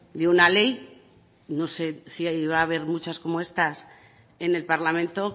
de una ley no sé si ahí va a haber muchas como estas en el parlamento